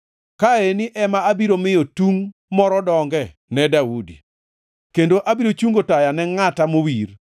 “Ka eni ema abiro miyo tung moro donge ne Daudi kendo abiro chungo taya ne ngʼata mowir.